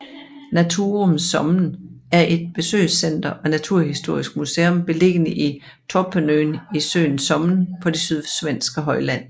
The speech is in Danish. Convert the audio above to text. Naturum Sommen er et besøgscenter og naturhistorisk museum beliggende i Torpönøen i søen Sommen på det sydsvenske højland